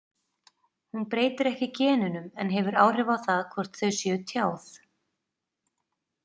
Hún breytir ekki genunum en hefur áhrif á það hvort þau séu tjáð.